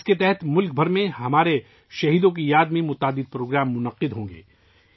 اس کے تحت ملک بھر میں ہمارے امر شہیدوں کی یاد میں بہت سے پروگرام منعقد ہوں گے